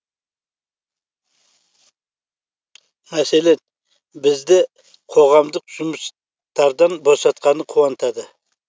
мәселен бізді қоғамдық жұмыстардан босатқаны қуантады